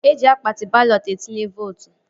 Eji akpati balọt etinye vootu